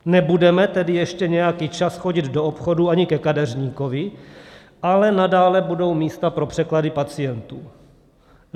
Nebudeme tedy ještě nějaký čas chodit do obchodů ani ke kadeřníkovi, ale nadále budou místa pro překlady pacientů.